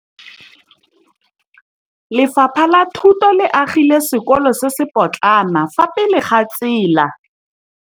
Lefapha la Thuto le agile sekôlô se se pôtlana fa thoko ga tsela.